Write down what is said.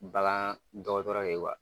Bagan dɔgɔtɔrɔ le ye wa.